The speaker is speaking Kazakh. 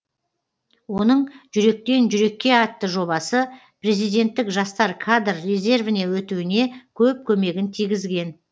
оның жүректен жүрекке атты жобасы президенттік жастар кадр резервіне өтуіне көп көмегін тигізген